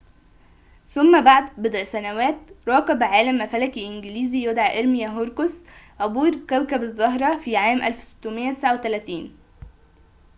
ثم بعد بضع سنوات راقب عالم فلكي إنجليزي يدعى إرميا هوروكس عبور كوكب الزهرة في عام 1639